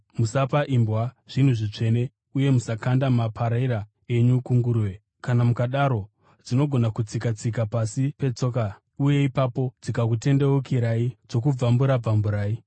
“Musapa imbwa zvinhu zvitsvene, uye musakanda maparera enyu kunguruve. Kana mukadaro, dzinogona kuatsika-tsika pasi petsoka, uye ipapo dzikazokutendeukirai dzokubvambura-bvamburai.